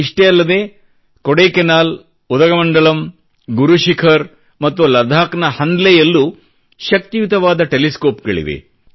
ಇಷ್ಟೇ ಅಲ್ಲದೆ ಕೊಡೈಕೆನಾಲ್ ಉದಗಮಂಡಲಂ ಗುರು ಶಿಖರ್ ಮತ್ತು ಲಡಾಕ್ನ ಹನ್ಲೆಯಲ್ಲೂ ಶಕ್ತಿಯುತವಾದ ಟೆಲಿಸ್ಕೋಪ್ಗಳಿವೆ